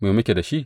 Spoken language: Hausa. Me muke da shi?